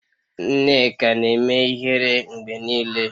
Nneka na-eme ihere mgbe niile.